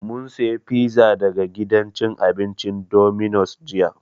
Mun saya pizza daga gidan cin abincin Dominos jiya